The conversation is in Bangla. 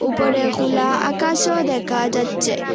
উপরে খোলা আকাশও দেখা যাচ্ছে।